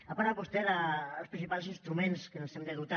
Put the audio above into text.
ha parlat vostè dels principals instruments dels quals ens hem de dotar